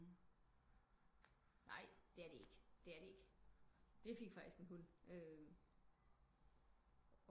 Nej det er det ikke det er det ikke vi fik faktisk en hund